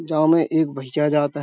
जाव में एक भईया जात है।